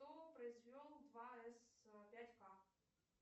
кто произвел вайс пять к